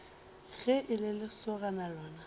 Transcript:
ge e le lesogana lona